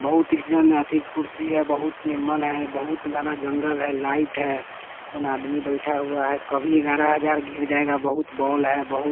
बहुत इस जन अधिक कुर्सी है बहुत निमन है बहुत घना जंगल है लाइट है आदमी बैठा हुआ है कभी ग्यारह हजार गिर जाएगा बहुत बोल है बहुत--